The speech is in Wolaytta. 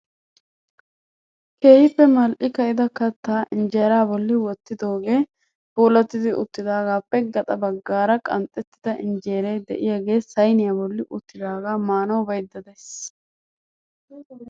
Keehippe mal'i ka'ida kattaa injeraa bolli wottidogee puulattidi uttidagaappe gaxa baggaara qanxettida injeeray de'iyaagee sayniyaa bolli uttidagaa manawu bayda days!